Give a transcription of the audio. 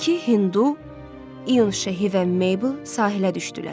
İki Hindu, İyun şəhi və Meybl sahilə düşdülər.